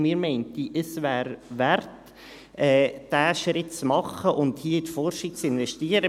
Und wir meinen, es wäre es wert, diesen Schritt zu machen und hier in die Forschung zu investieren.